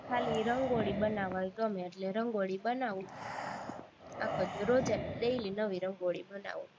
ખાલી રંગોળી બનાવવી ગમે એટલે રંગોળી બનાવી આખો દી રોજે daily નવી રંગોળી બનાવી